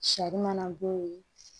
Sari mana bɔ yen